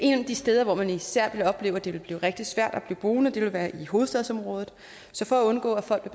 de steder hvor man især ville opleve at det ville blive rigtig svært at blive boende ville være i hovedstadsområdet så for at undgå at folk